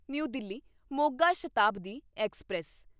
new Delhi Moga Shatabdi express